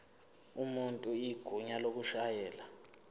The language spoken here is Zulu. umuntu igunya lokushayela